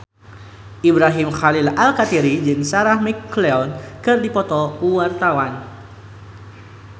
Ibrahim Khalil Alkatiri jeung Sarah McLeod keur dipoto ku wartawan